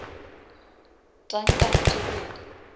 tankana tše pedi